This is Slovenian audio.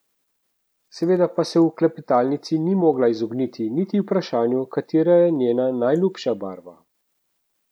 Seveda pa se v klepetalnici ni mogla izogniti niti vprašanju, katera je njena najljubša barva.